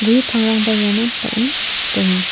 gue pangrangba iano bang·en donga.